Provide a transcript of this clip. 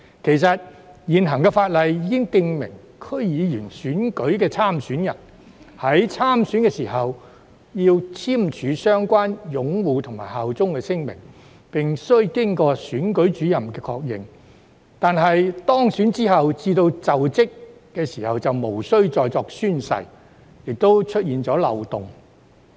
事實上，現行法例已訂明區議會選舉的參選人，在參選時須簽署相關的擁護和效忠聲明，並須經選舉主任確認，但由當選至就職卻無須再作宣誓，因而出現漏洞。